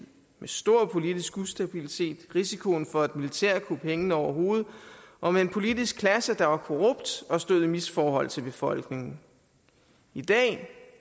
med stor politisk ustabilitet risiko for et militærkup hængende over hovedet og med en politisk klasse der var korrupt og stod i misforhold til befolkningen i dag